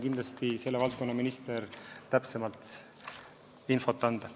Küllap selle valdkonna minister oskab täpsemat infot anda.